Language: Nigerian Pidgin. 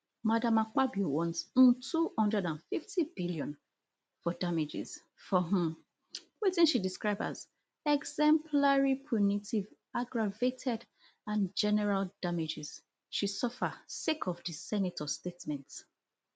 madam akpabio want ntwo hundred and fifty billion in damages for um wetin she describe as exemplary punitive aggravated and general damages she suffer sake of di senator statement